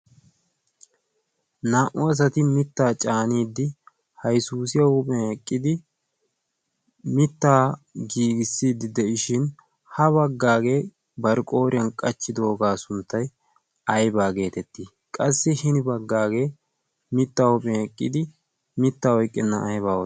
naa"u asati mittaa caaniiddi haisuusiya huuphien eqqidi mittaa giigissiiddi de'ishin ha baggaagee barqqooriyan qachchidoogaa sunttai aibaa geetettii qassi hini baggaagee mittaa huuphin eqqidi mitta oyqqenna aybaawa